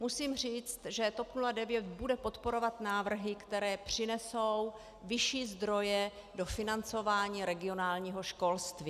Musím říct, že TOP 09 bude podporovat návrhy, které přinesou vyšší zdroje do financování regionálního školství.